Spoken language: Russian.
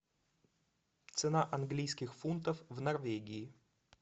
цена английских фунтов в норвегии